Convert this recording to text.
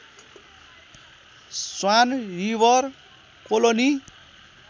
swan river colony